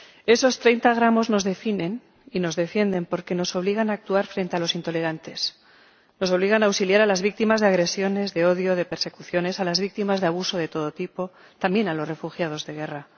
Esos 30 gramos nos definen y nos defienden porque nos obligan a actuar frente a los intolerantes, nos obligan a auxiliar a las víctimas de agresiones de odio, de persecuciones, a las víctimas de abuso de todo tipo, y también a los refugiados de guerra.